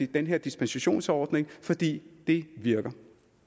den her dispensationsordning fordi det virker